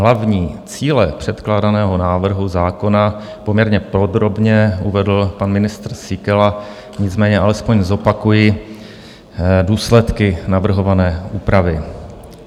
Hlavní cíle předkládaného návrhu zákona poměrně podrobně uvedl pan ministr Síkela, nicméně alespoň zopakuji důsledky navrhované úpravy.